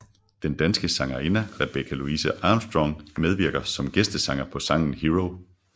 Den danske sangerinde Rebecca Louise Armstrong medvirker som gæstesanger på sangen Hero